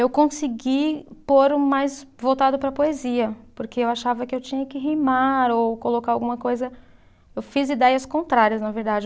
Eu consegui pôr o mais voltado para a poesia, porque eu achava que eu tinha que rimar ou colocar alguma coisa. Eu fiz ideias contrárias, na verdade.